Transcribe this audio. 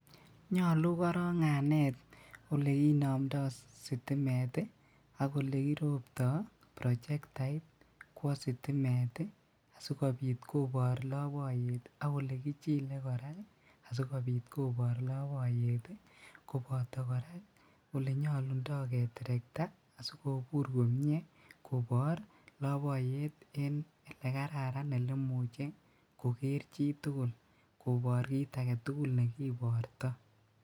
Nyolu korong anet olekinomdo sitimet ii ak okekirobto prochektait kwo sitimet ii sikobit kobor loboyet ak olekijile koraa sikobitkobor loboyet ii, koboto koraa olenyolundo keterekta kobur komie kobor loboyet en elekararan elemuche koker chitugul kobor kit agetugul nekiborto.